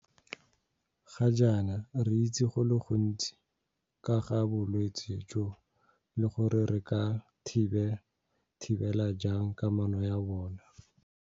Ga jaana re itse go le gontsi ka ga bolwetse jo le gore re ka thibela jang kanamo ya bona.